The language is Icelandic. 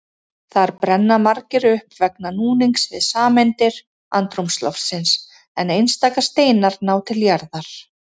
Þar brenna margir upp vegna núnings við sameindir andrúmsloftsins en einstaka steinar ná til jarðar.